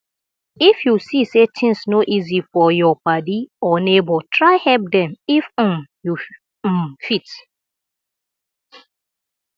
if yu see say tins no easy for yur padi or neibor try help dem if um yu um fit